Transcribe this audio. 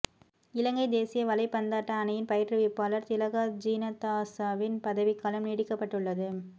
இலங்கை தேசிய வலைப்பந்தாட்ட அணியின் பயிற்றுவிப்பாளர் திலகா ஜினதாஸவின் பதவிக்காலம் நீடிக்கப்பட்டுள்ளது